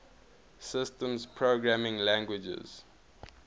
systems programming languages